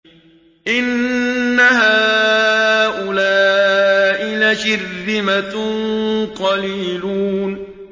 إِنَّ هَٰؤُلَاءِ لَشِرْذِمَةٌ قَلِيلُونَ